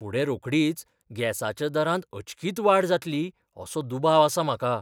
फुडें रोखडीच गॅसाच्या दरांत अचकीत वाड जातली असो दुबाव आसा म्हाका.